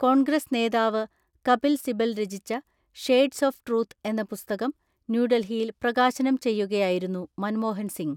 കോൺഗ്രസ് നേതാവ് കപിൽ സിബൽ രചിച്ച 'shades of truth' എന്ന പുസ്തകം ന്യൂഡൽഹിയിൽ പ്രകാശനം ചെയ്യുകയായിരുന്നു മൻമോഹൻസിംഗ്.